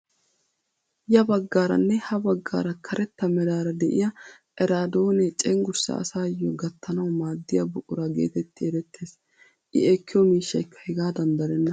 Ya baggarane ha baggaara karetta meraara de'iyaa eraadoonee cengurssaa asaayoo gattanawu maaddiya buqura getetti erettees. I ekkiyoo miishshaykka hegaadan darenna.